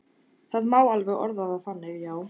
Það má alveg orða það þannig, já.